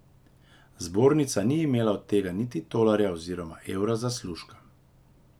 Zbornica ni imela od tega niti tolarja oziroma evra zaslužka.